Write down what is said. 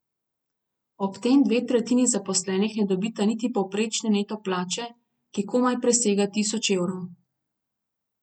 Ob tem dve tretjini zaposlenih ne dobita niti povprečne neto plače, ki komaj presega tisoč evrov.